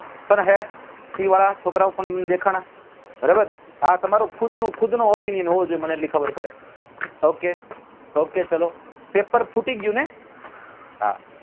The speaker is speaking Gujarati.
પણ હે વાળા છોકરાઓ પણ મન દેખાણા બરાબર હા તમારું ખુદ નું ખુદ નું opinion હોવું જોઈએ મને એટલી ખબર પડે ok ok ચાલો પેપર ફૂટી ગયું ને હા